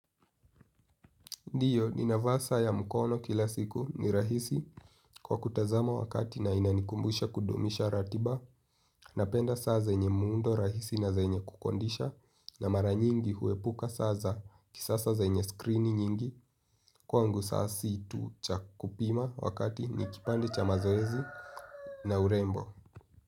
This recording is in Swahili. Ndiyo, ninavaa saa ya mkono kila siku ni rahisi kwa kutazama wakati na inanikumbusha kudumisha ratiba. Napenda saa zenye muundo rahisi na zenye kukondisha. Na mara nyingi huepuka saa za kisasa zenye screeni nyingi. Kwangu saa si tu cha kupima wakati ni kipande cha mazoezi na urembo.